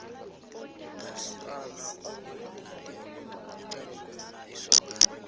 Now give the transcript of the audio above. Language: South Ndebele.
umsana owelileko ibizwa isokana